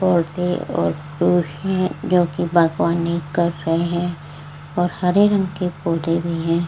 पौधे और पुरुष हैं जो कि बागवानी कर रहे हैं और हरे रंग के पौधे भी हैं।